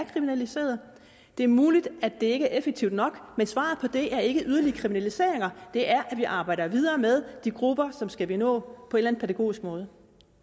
kriminaliseret det er muligt at det ikke er effektivt nok men svaret på det er ikke yderligere kriminaliseringer det er at vi arbejder videre med de grupper som vi skal nå på en pædagogisk måde